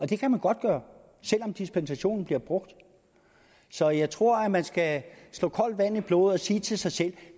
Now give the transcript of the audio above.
det kan man godt gøre selv om dispensationen bliver brugt så jeg tror at man skal slå koldt vand i blodet og sige til sig selv at